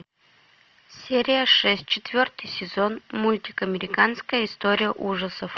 серия шесть четвертый сезон мультик американская история ужасов